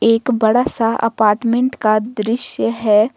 एक बड़ा सा अपार्टमेंट का दृश्य है।